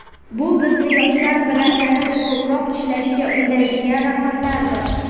Bu bizni yoshlar bilan yanada ko‘proq ishlashga undaydigan raqamlardir.